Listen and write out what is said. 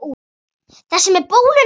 Þessi með bóluna?